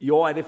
i år er